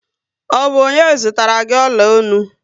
Ọ bụ ọnye zụtara gị ọla ọnụ?